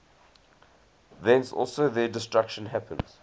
thence also their destruction happens